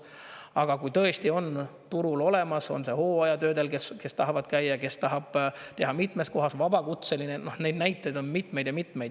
Aga kui tõesti on turul olemas inimesi, on see hooajatöödel, kes tahavad käia, kes tahavad teha mitmes kohas, olla vabakutselised – neid näiteid on mitmeid ja mitmeid.